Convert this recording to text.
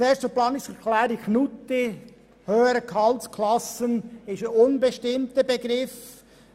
Zuerst zur Planungserklärung Knutti: «Höhere Gehaltsklassen» ist ein unbestimmter Begriff.